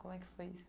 Como é que foi isso?